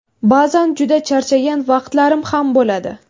Ba’zan juda charchagan vaqtlarim ham bo‘ladi.